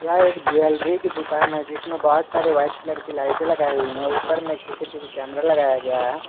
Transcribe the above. यह एक ज्वेलरी की दुकान है जिसमें बहुत सारी व्हाइट कलर की लाइटें लगाई हुई है ऊपर में एक सी_सी_टी_वी कैमरा लगाया गया है।